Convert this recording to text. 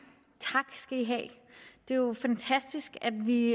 det er jo fantastisk at vi